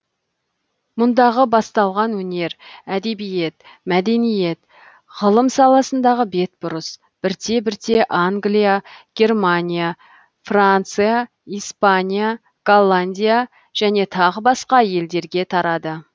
мұндағы басталған өнер әдебиет мәдениет ғылым саласындағы бетбұрыс бірте бірте англия германия франция испания голландия және тағы басқа елдерге тарады